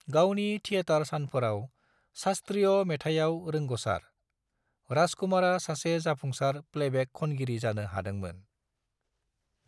गावनि थेयेटार सानफोराव शास्त्रीय मेथायाव रोंगसार, राजकुमारा सासे जाफुंसार प्लेबेक खनगिरि जानो हादोंमोन।